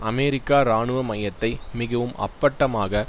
அமெரிக்க இராணுவமயத்தை மிகவும் அப்பட்டமாக